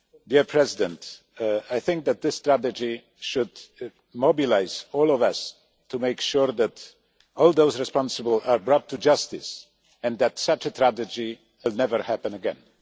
Mr President, I think that this strategy should mobilise all of us to make sure that all those responsible are brought to justice and that such a tragedy never happens again.